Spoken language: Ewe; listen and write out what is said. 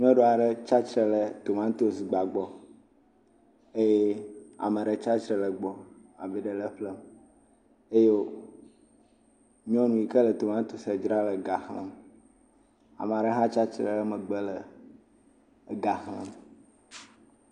Nyɔnu aɖe tsi atsitre ɖe tomatosi gba gbɔ, eye ame aɖe tsi atsitre ɖe egbɔ, ame aɖe le eƒlem eye wo…nyɔnu yi ke le tomatosia dzram le ga xlẽm. Ame aɖe hã tsi atsitre ɖe megbe le ga xlem.